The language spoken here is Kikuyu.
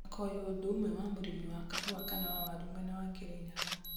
akoywo ũndũ ũmwe na mũrĩmi wa kahũa kana wa waru mwena wa Kĩrĩnyaga.